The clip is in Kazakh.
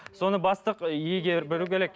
соны бастық егер білуі керек